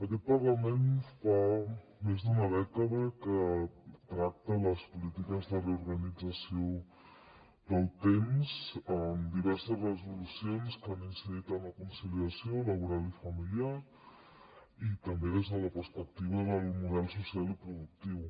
aquest parlament fa més d’una dècada que tracta les polítiques de reorganització del temps amb diverses resolucions que han incidit en la conciliació laboral i familiar i també des de la perspectiva del model social i productiu